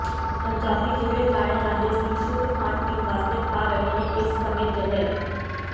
ਪੰਜਾਬੀ ਜਿਹੜੇ ਜਾਣੇ ਜਾਂਦੇ ਸੀ ਸ਼ੁੱਧ ਖਾਣ ਪੀਣ ਵਾਸਤੇ ਖਾ ਰਹੇ ਨੇ ਇਸ ਸਮੇਂ ਜ਼ਹਿਰ